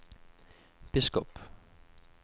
biskop